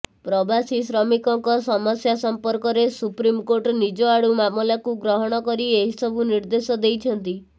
ପ୍ରବାସୀ ଶ୍ରମିକଙ୍କ ସମସ୍ୟା ସମ୍ପର୍କରେ ସୁପ୍ରିମକୋର୍ଟ ନିଜ ଆଡୁ ମାମଲାକୁ ଗ୍ରହଣ କରି ଏହି ସବୁ ନିର୍ଦ୍ଦେଶ ଦେଇଛନ୍ତି